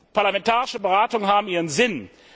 Parlamentarische Beratungen haben ihren Sinn.